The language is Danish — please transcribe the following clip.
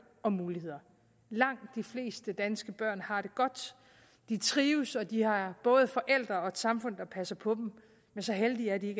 og muligheder langt de fleste danske børn har det godt de trives og de har både forældre og et samfund der passer på dem men så heldige er de